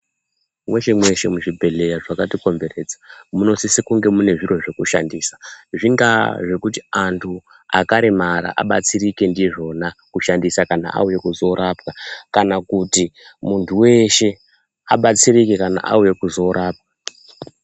Mweshe-mweshe muzvibhedhlera zvakatikomberedza munosise kunge mune zviro zvekushandisa zvingaa zvekuti antu akaremara abatsirike ndizvona kushandisa kana auye kuzoorapwa kana kuti muntu weshe abatsirike kana auya kuzorapwa.